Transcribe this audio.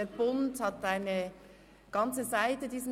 «Der Bund» hat diesem Thema eine ganze Seite gewidmet.